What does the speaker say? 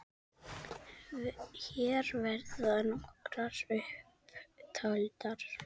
Hér verða nokkrar upp taldar